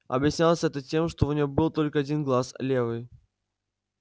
объяснялось это тем что у него был только один глаз левый